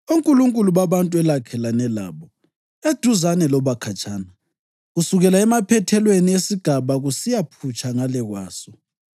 onkulunkulu babantu elakhelene labo, eduzane loba khatshana, kusukela emaphethelweni esigaba kusiyaphutsha ngale kwaso),